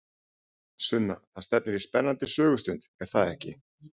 Sunna, það stefnir í spennandi sögustund, er það ekki?